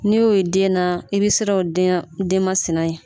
N'i y'o ye den na i bɛ siran o denmasina ye